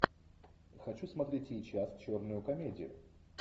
хочу смотреть сейчас черную комедию